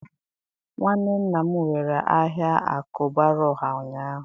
nwanne nna m were aha Akubaraoha ụnyahụ